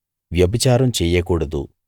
వ్యభిచారం చెయ్యకూడదు